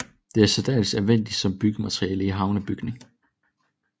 Det er særdeles anvendeligt som byggemateriale i havnebygning